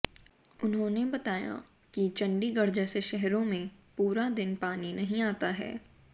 उन्होंने बताया कि चंडीगढ़ जैसे शहरों में पूरा दिन पानी नहीं आता है